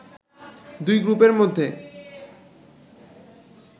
দুই গ্রুপের মধ্যে